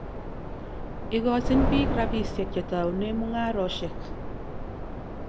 Ikochin piik rapisyek che toune mung'arosyek.